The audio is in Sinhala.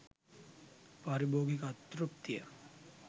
පාරිභෝගික අතෘප්තිය